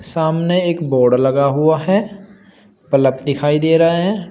सामने एक बोर्ड लगा हुआ है बलब दिखाई दे रहा हैं।